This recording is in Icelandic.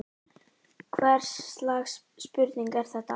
Hvers slags spurning er þetta!